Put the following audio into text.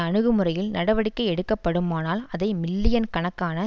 அணுகுமுறையில் நடவடிக்கை எடுக்கப்படுமானால் அதை மில்லியன் கணக்கான